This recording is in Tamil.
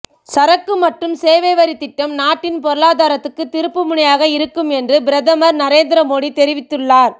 சரக்கு மற்றும் சேவை வரித் திட்டம் நாட்டின் பொருளாதாரத்துக்கு திருப்பு முனையாக இருக்கும் என்று பிரதமர் நரேந்திர மோடி தெரிவித்துள்ளார்